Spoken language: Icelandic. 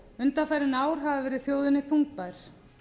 undanfarin ár hafa verið þjóðinni þungbær